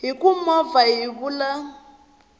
hi ku movha hi vula